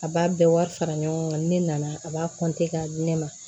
A b'a bɛɛ wari fara ɲɔgɔn kan ni ne nana a b'a k'a di ne ma